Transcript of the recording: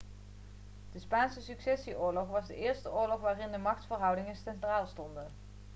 de spaanse successieoorlog was de eerste oorlog waarin de machtsverhoudingen centraal stonden